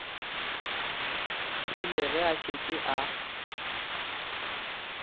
rile ge a šetše a